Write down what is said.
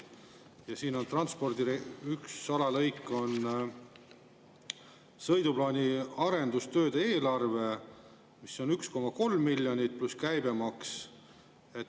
Ja üks transpordi alalõik on sõiduplaani arendustööde eelarve, mis on 1,3 miljonit, pluss käibemaks.